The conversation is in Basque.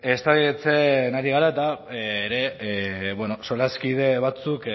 eztabaidatzen ari gara ere eta bueno solaskide batzuek